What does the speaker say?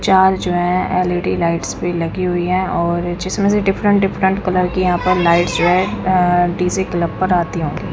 चार जो है एलईडी लाइट्स पे लगी हुई है और जिसमें से डिफरेंट डिफरेंट कलर की यहां पर लाइट्स जो है डीजे क्लब पर आती होंगी।